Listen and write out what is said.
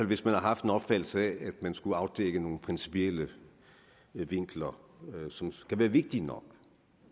hvis man har haft en opfattelse af at man skulle afdække nogle principielle vinkler som kan være vigtige nok